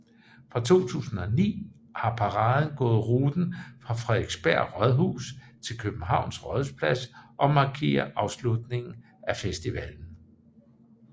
Fra 2009 har paraden gået ruten fra Frederiksberg Rådhus til Københavns Rådhusplads og markerer afslutningen af festivalen